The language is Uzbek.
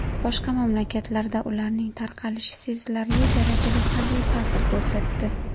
Boshqa mamlakatlarda ularning tarqalishi sezilarli darajada salbiy ta’sir ko‘rsatdi.